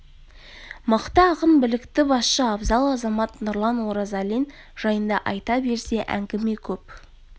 мықты ақын білікті басшы абзал азамат нұрлан оразалин жайында айта берсе әңгіме көп